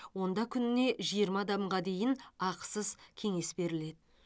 онда күніне жиырма адамға дейін ақысыз кеңес беріледі